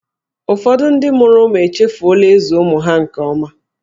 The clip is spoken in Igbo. Ụfọdụ ndị mụrụ ụmụ echefuola ịzụ ụmụ ha nke ọma.